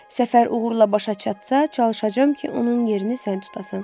Səfər uğurla başa çatsa, çalışacam ki, onun yerini sən tutasan.